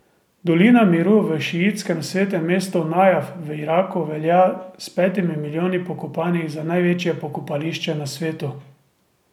Dolina miru v šiitskem svetem mestu Najaf v Iraku velja s petimi milijoni pokopanih za največje pokopališče na svetu.